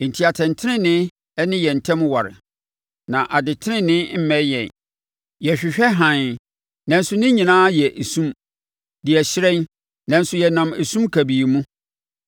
Enti atɛntenenee ne yɛn ntam aware, na adetenenee mmɛn yɛn. Yɛhwehwɛ hann, nanso ne nyinaa yɛ esum; deɛ ɛhyerɛn, nanso yɛnam esum kabii mu.